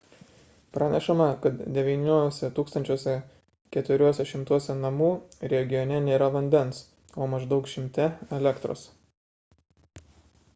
pranešama kad 9 400 namų regione nėra vandens o maždaug 100 – elektros